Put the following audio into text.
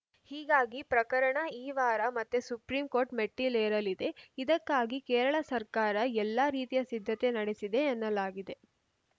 ಹೀಗಾಗಿ ಪ್ರಕರಣ ಈ ವಾರ ಮತ್ತೆ ಸುಪ್ರೀಂಕೋರ್ಟ್‌ ಮೆಟ್ಟಿಲೇರಲಿದೆ ಇದಕ್ಕಾಗಿ ಕೇರಳ ಸರ್ಕಾರ ಎಲ್ಲಾ ರೀತಿಯ ಸಿದ್ಧತೆ ನಡೆಸಿದೆ ಎನ್ನಲಾಗಿದೆ